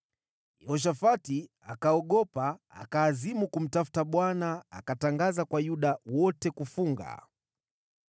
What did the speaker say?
Yehoshafati akaogopa, akaazimu kumtafuta Bwana , na akatangaza kwa Yuda wote kufunga.